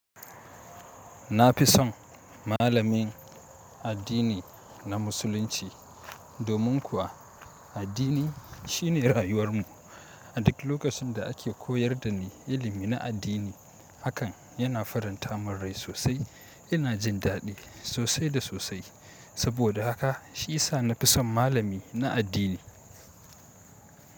Na fi son malamin addini na Musulunci, domin kuwa addini shine rayuwar mu. A duk lokacin da ake koyar da ni ilimi na addini, hakan yana faranta mun rai sosai. Ina jin daɗi sosai da sosai. Saboda haka shi ya sa na fi son malami na addini.